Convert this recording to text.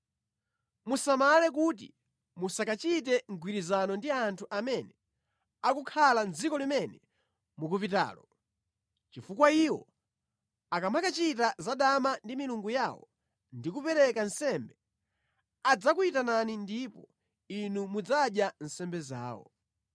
“Musamale kuti musakachite mgwirizano ndi anthu amene akukhala mʼdziko limene mukupitalo, chifukwa iwo akamakachita zadama ndi milungu yawo ndi kupereka nsembe, adzakuyitanani ndipo inu mudzadya nsembe zawo.